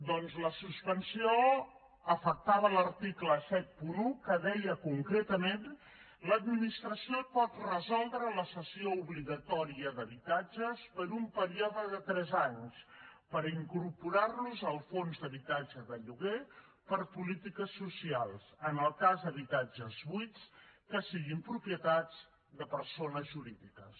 doncs la suspensió afectava l’article setanta un que deia concretament l’administració pot resoldre la sessió obligatòria d’habitatges per un període de tres anys per incorporar los al fons d’habitatge de lloguer per a polítiques socials en el cas d’habitatges buits que siguin propietats de persones jurídiques